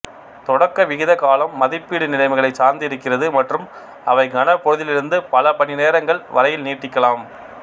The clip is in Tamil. தொடக்க விகித காலம் மதிப்பீடு நிலைமைகளைச் சார்ந்திருக்கிறது மற்றும் அவை கணப்பொழுதிலிருந்து பல மணிநேரங்கள் வரையில் நீட்டிக்கலாம்